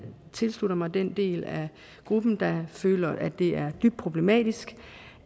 tilslutter mig den del af gruppen der føler at det er dybt problematisk